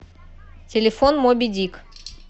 телефон мобидик